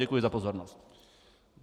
Děkuji za pozornost.